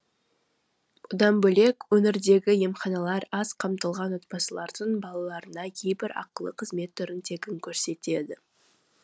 одан бөлек өңірдегі емханалар аз қамтылған отбасылардың балаларына кейбір ақылы қызмет түрін тегін көрсетеді